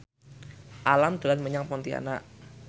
Alam dolan menyang Pontianak